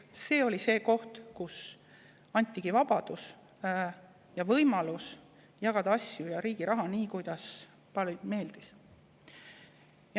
See oli see koht, kus antigi vabadus ja võimalus jagada asju ja riigi raha nii, kuidas paljudele meeldis.